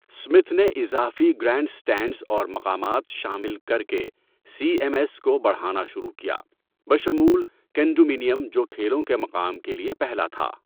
Smith نے اضافی grandstands اور مقامات شامل کر کے سی ایم ایس کو بڑھانا شروع کیا، بشمول کنڈومینیم جو کھیلوں کے مقام کے لیے پہلا تھا۔